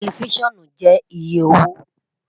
Tẹlifisiọnu jẹ iye owo